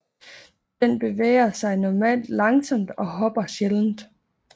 Den bevæger sig normalt langsomt og hopper sjældent